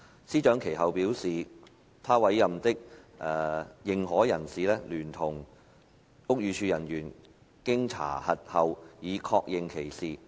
司長其後表示，她委任的認可人士聯同屋宇署人員經查核後已確認此事。